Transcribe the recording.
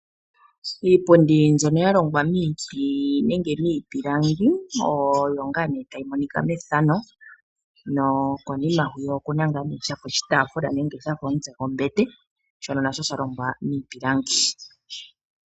Iipundi mboka yalongwa miiti nenge miipilanga oyo tayi monika mefano. Konima otaku monika oshitafula nenge shafa omutse gombete shoka shalongwa miipilangi.